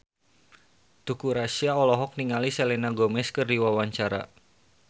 Teuku Rassya olohok ningali Selena Gomez keur diwawancara